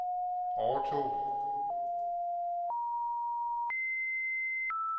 overtog